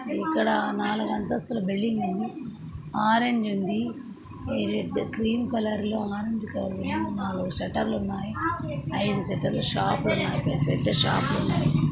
ఇక్కడ నాలుగు అంతస్తుల బిల్డింగ్ ఉంది. ఆరంజ్ ఉంది రెడ్ క్రీమ్ కలర్ లో ఆరంజ్ కలర్ లో నలుగు షటర్ లున్నాయ్. ఐదు షాప్ లున్నాయి పెద్ద పెద్ద షాప్ లున్నాయి.